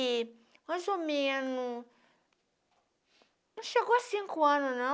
E, mais ou menos... Não chegou a cinco anos, não.